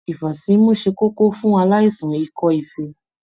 Ifasimu ṣe kókó fún aláìsàn ikọ-ifee.